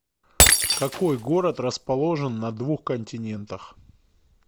какой город расположен на двух континентах